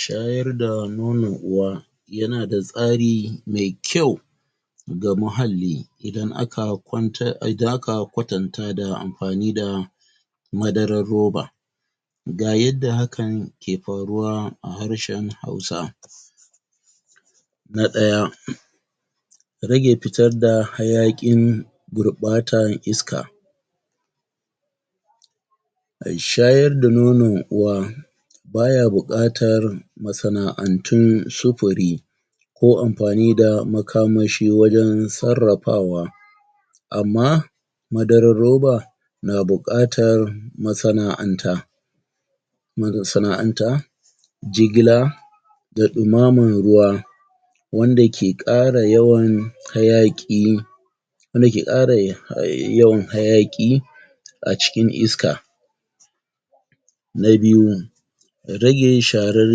Shayar da nonon uwa yanada tsari me kyau ga muhalli idan aka kwanta, idan aka kwatanta da amfani da madarar roba ga yadda hakan ke faruwa a harshen Hausa Na ɗaya Rage fitarda hayaƙin gurɓatan iska ai shayar da nonon uwa baya buƙatar masana'antun sufuri ko amfani da makamashi wajen sarrafawa amma madarar roba na buƙatar masana'anta marasana'anta jigila da ɗumaman ruwa wanda ke ƙara yawan hayaƙi wanda ke ƙara? yawan hayaƙi a cikin iska Na biyu Rage sharar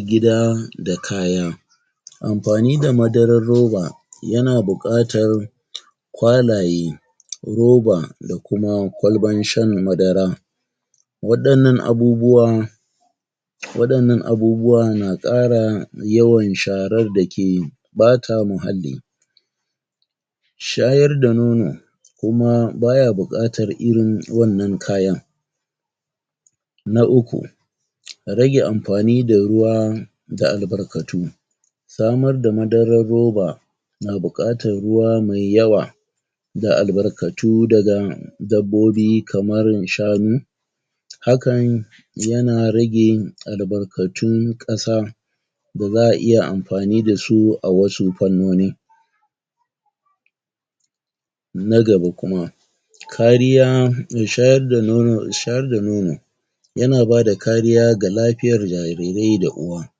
gida da kaya Amfani da madarar roba yana buƙatar kwalaye roba, da kuma kwalban shan madara waɗannan abubuwan waɗannan abubuwa na ƙara yawan sharar dake ɓata muhalli shayar da nono kuma baya buƙatar irin wannan kayan Na uku Rage amfani da ruwa da albarkatu samar da madarar roba na buƙatar ruwa mai yawa da albarkatu daga dabbobi kamar irin shanu hakan yana rage albarkatun ƙasa da za'a iya amfani dasu a wasu fannoni Na gaba kuma kariya um shayar da nono, shayar da nono yana bada kariya ga lafiyar jarirai da uwa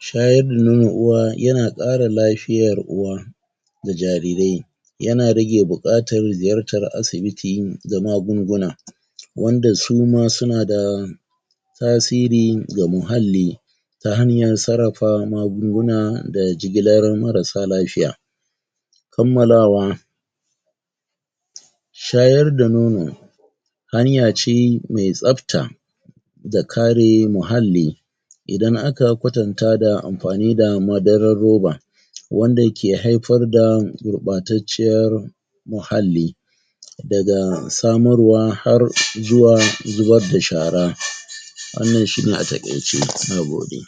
shayar da nonon uwa yana ƙara lafiyar uwa da jarirai yana rage buƙatar ziyartar asibiti da magunguna wanda suma sunada tasiri ga muhalli ta hanyar sarrafa magunguna da jigalar marasa lafiya kammalawa shayar da nono hanyace me tsafta da kare muhalli idan aka kwatanta da amfani da madarar roba wanda ke haifar da gurɓatacciyar muhalli daga samarwa har zuwa zubar da shara wannan shine a taƙaice, nagode.